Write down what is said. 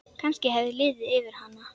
Kannski hafði liðið yfir hana.